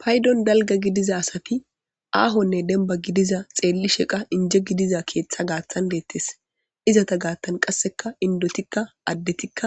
paydon dalga gidiza asati aahonne denba gidiza xeelli sheqa inje gidiza keeththa gaattan deettes izata gaattan qasseka indotikka addetikka